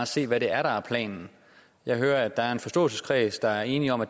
se hvad det er der er planen jeg hører at der er en forståelseskreds der er enig om at